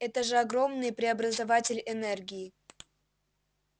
это же огромный преобразователь энергии